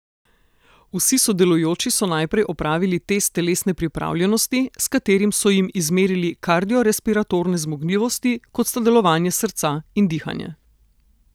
Vsi sodelujoči so najprej opravili test telesne pripravljenosti, s katerim so jim izmerili kardiorespiratorne zmogljivosti, kot sta delovanje srca in dihanje.